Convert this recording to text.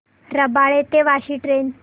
रबाळे ते वाशी ट्रेन